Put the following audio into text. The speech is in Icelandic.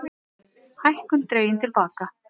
Hækkun dregin til baka